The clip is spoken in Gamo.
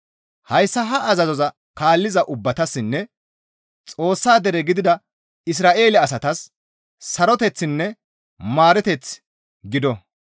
Hayssa ha azazoza kaalliza ubbatassinne Xoossa dere gidida Isra7eele asatas saroteththinne maareteththi gido.